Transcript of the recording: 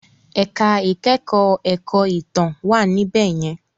Ẹ̀ka ìkẹ́kọ̀ọ́ ẹ̀kọ́ ìtàn wà níbẹ̀ yẹn.